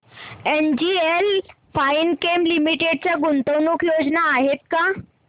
NGL Finechem Limited च्या गुंतवणूक योजना आहेत का